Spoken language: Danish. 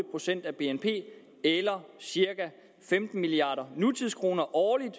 procent af bnp eller cirka femten milliard nutidskroner årligt